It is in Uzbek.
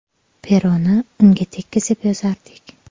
Peroni unga tekkizib yozardik.